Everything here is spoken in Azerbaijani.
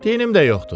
Dinim də yoxdur.